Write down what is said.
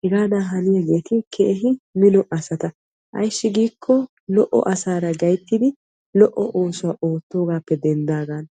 Hegaadan haniyagetti keehi mino asatta ayssi giikko lo'o asaara lo'o oosuwa oottogappe denddagan.